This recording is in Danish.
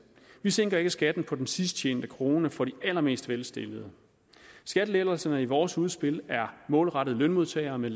vi sænker ikke skatten på den sidst tjente krone for de allermest velstillede skattelettelserne i vores udspil er målrettet lønmodtagere med